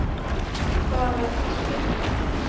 Dala-Husby